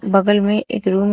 बगल में एक रूम है।